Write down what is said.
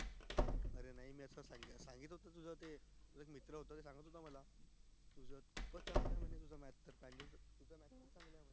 अरे नई मी असच सांगत होतो तुझा तो मित्र होता एक ते सांगत होता मला maths problem